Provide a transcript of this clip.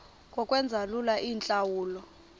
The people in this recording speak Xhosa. ngokwenza lula iintlawulo